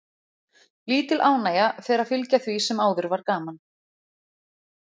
Lítil ánægja fer að fylgja því sem áður var gaman.